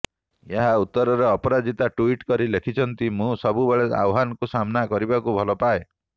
ଏହାର ଉତ୍ତରରେ ଅପରାଜିତା ଯୁଇଟ କରି ଲେଖିଛନ୍ତି ମୁଁ ସବୁବେଳେ ଆହ୍ବାନକୁ ସାମ୍ନା କରିବାକୁ ଭଲପାଏ